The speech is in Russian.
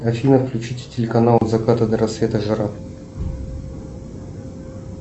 афина включите телеканал от заката до рассвета жара